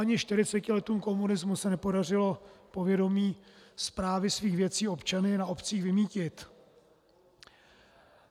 Ani 40 letům komunismu se nepodařilo povědomí správy svých věcí občany na obcích vymýtit.